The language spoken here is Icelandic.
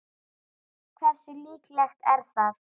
Hversu líklegt er það?